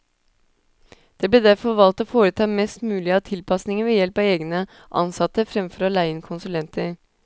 Det ble derfor valgt å foreta mest mulig av tilpasninger ved help av egne ansatte, fremfor å leie inn konsulenter.